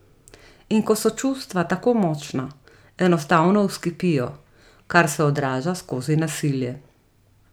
In ko so čustva tako močna, enostavno vzkipijo, kar se odraža skozi nasilje.